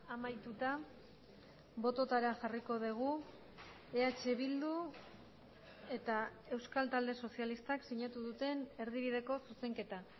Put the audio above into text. amaituta bototara jarriko dugu eh bildu eta euskal talde sozialistak sinatu duten erdibideko zuzenketa